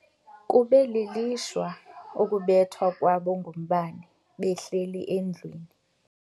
Kube lilishwa ukubethwa kwabo ngumbane behleli endlwini.